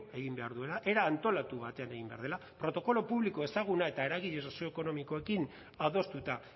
egin behar duela era antolatu batean egin behar dela protokolo publiko ezaguna eta eragile sozioekonomikoekin adostuta